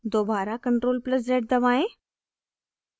दोबारा ctrl + z दबाएं